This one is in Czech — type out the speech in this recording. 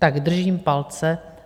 Tak držím palce.